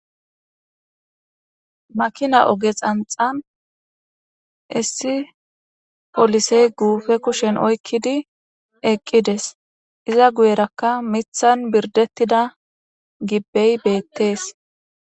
makina oge xanxan issi polisey guupe kushen oykkidi eqqides, iza guyerakka mithan birdettida gibbey beettees